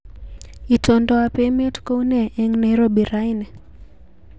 Itondoab emet kounee eng Nairobi raini